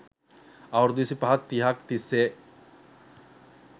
අවුරුදු විසිපහක් තිහක් තිස්සේ